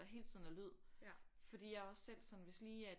Der hele tiden er lyd fordi jeg er også selv sådan at hvis lige at